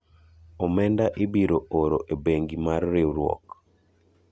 Omenda ibiro oro e bengi mar riwruok